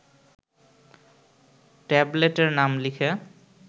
ট্যাবলেটের নাম লিখে